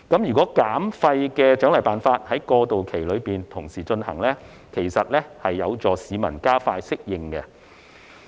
如果在過渡期內同時推行減廢的獎勵辦法，其實是有助市民加快適應。